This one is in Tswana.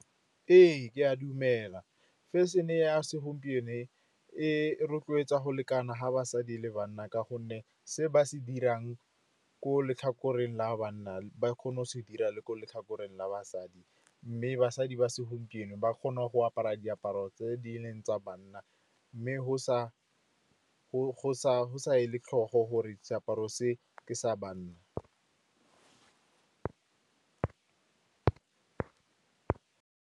Ee, ke a dumela. Fashion-e ya segompieno e rotloetsa go lekana ga basadi le banna, ka gonne se ba se dirang ko letlhakoreng la banna ba kgone go se dira le ko letlhakoreng la basadi. Mme basadi ba segompieno ba kgona go apara diaparo tse di leng tsa banna, mme go sa e le tlhogo gore seaparo se ke sa banna.